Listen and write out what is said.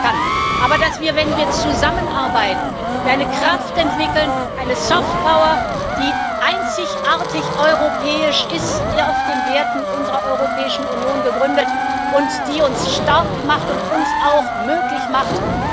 kann, aber dass wir, wenn wir zusammenarbeiten, eine Kraft entwickeln, eine Soft Power die einzigartig europäisch ist, auf den Werten unserer Europäischen Union gegründet, und die uns stark macht und uns auch ermöglicht,